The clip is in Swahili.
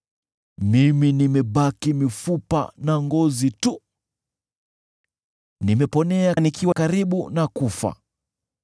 Mimi nimebaki mifupa na ngozi tu; nimeponea nikiwa karibu kufa.